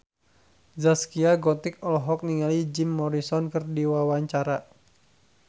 Zaskia Gotik olohok ningali Jim Morrison keur diwawancara